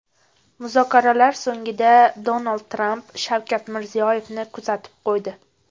Muzokaralar so‘ngida Donald Tramp Shavkat Mirziyoyevni kuzatib qo‘ydi.